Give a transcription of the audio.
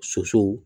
Sosow